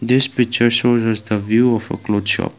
this picture shows the view of a cloth shop.